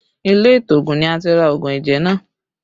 Ilé ìtoògùn ni a ti ra òògùn ẹ̀jẹ̀ náà